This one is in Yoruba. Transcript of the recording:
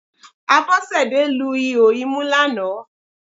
Abọ́sẹ̀dé lu ihò imú lánàá